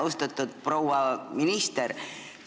Austatud proua minister!